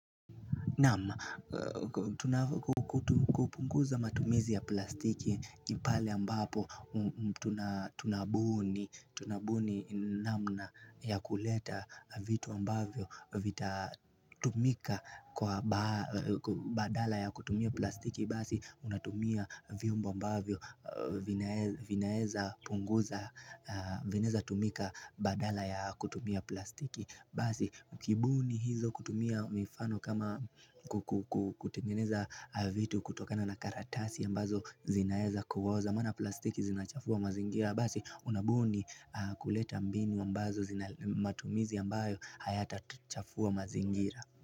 Naam kupunguza matumizi ya plastiki ni pale ambapo tunabuni namna ya kuleta vitu ambavyo Vitatumika badala ya kutumia plastiki Basi, unatumia vyombo ambavyo vinaeza tumika badala ya kutumia plastiki Basi, ukibuni hizo kutumia mifano kama kutengeneza vitu kutokana na karatasi ambazo zinaeza kuoza Mana plastiki zinachafua mazingira Basi, unabuni kuleta mbini ambazo zina matumizi ambayo hayatachafua mazingira.